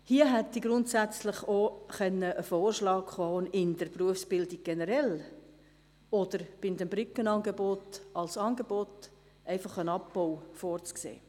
Hier hätte grundsätzlich auch ein Vorschlag kommen können, in der Berufsbildung generell oder bei den Brückenangeboten als Angebot einen Abbau vorzusehen.